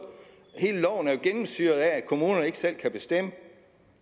hele loven er jo gennemsyret af at kommunerne ikke selv kan bestemme